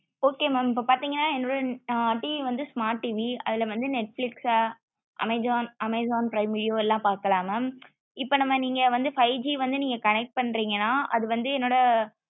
okay mam இப்போ பாத்திங்கன என்னோட TV வந்து smart TV அதுல வந்து netflix amazon amazon prime video எல்லாம் பாக்கலாம் mam இப்போ நம்ம நீங்க வந்து five G வந்து நீங்க connect பண்றீகன அது வந்து என்னோட